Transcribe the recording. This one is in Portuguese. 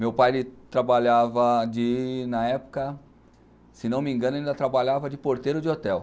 Meu pai, ele trabalhava de, na época, se não me engano, ele ainda trabalhava de porteiro de hotel.